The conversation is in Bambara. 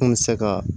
An bɛ se ka